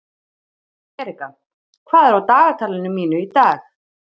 Erika, hvað er á dagatalinu mínu í dag?